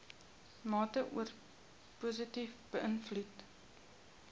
mate positief beïnvloed